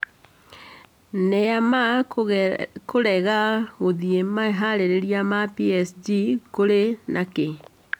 Neymar kũrega gũthiĩ meharĩrĩria ma PSG- kũrĩ nakĩ?